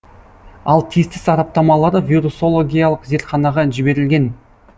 ал тиісті сараптамалары вирусологиялық зертханаға жіберілген